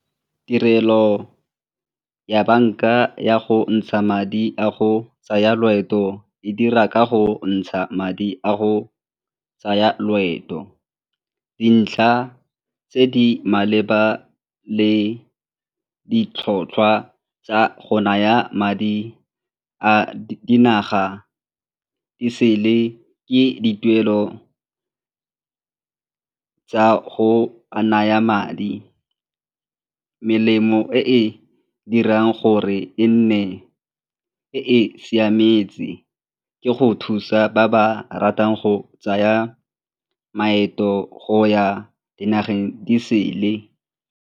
Tirelo ya banka ya go ntsha madi a go tsaya loeto e dira ka go ntsha madi a go tsaya loeto. Dintlha tse di maleba le ditlhotlhwa tsa go naya madi a dinaga disele ke dituelo tsa go a naya madi. Melemo e e dirang gore e nne e siametse ke go thusa ba ba ratang go tsaya maeto go ya dinageng disele.